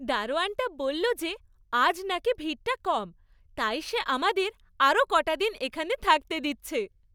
দারোয়ানটা বললো যে আজ নাকি ভিড়টা কম। তাই সে আমাদের আরও কটা দিন এখানে থাকতে দিচ্ছে।